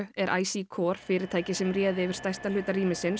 er IC CORE fyrirtækið sem réði yfir stærsta hluta